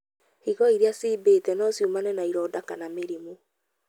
Higo irĩa ciimbĩte no ciumane na ironda kana mĩrimũ.